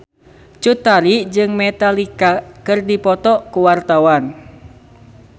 Cut Tari jeung Metallica keur dipoto ku wartawan